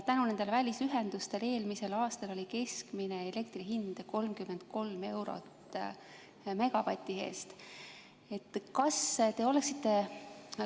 Tänu nendele välisühendustele oli eelmisel aastal keskmine elektri hind 33 eurot megavati eest.